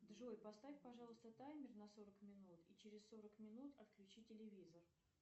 джой поставь пожалуйста таймер на сорок минут и через сорок минут отключи телевизор